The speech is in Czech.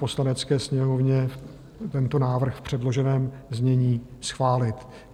Poslanecké sněmovně tento návrh v předloženém znění schválit.